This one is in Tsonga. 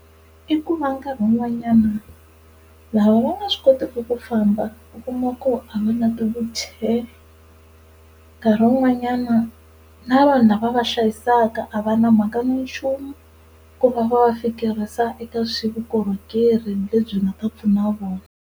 I ku va nkarhi wun'wanyana lava va nga swi kotiki ku famba u kuma ku a va na ti-wheelchair, nkarhi wun'wanyana na vanhu lava va va hlayisaka a va na mhaka na nchumu ku va va va fikerisa eka swa vukorhokeri lebyi nga ta pfuna vona.